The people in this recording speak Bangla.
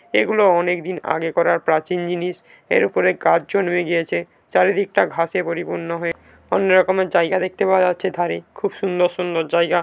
এগুলো অনেক দিন আগে করা প্রাচীন জিনিস এর উপরে গাছ জন হয়ে গিয়েছে চারিদিকে টা ঘাসে পরিপূর্ণ হয়ে অন্য রকমের জায়গায় দেখতে পাওয়া যাচ্ছে ধারে খুব সুন্দর সুন্দর জায়গা।